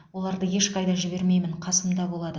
оларды ешқайда жібермеймін қасымда болады